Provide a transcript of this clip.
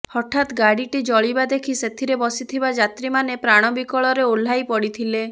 ହଠାତ୍ ଗାଡିଟି ଜଳିବା ଦେଖି ସେଥିରେ ବସିଥିବା ଯାତ୍ରୀମାନେ ପ୍ରାଣ ବିକଳରେ ଓହ୍ଲାଇ ପଡିଥିଲେ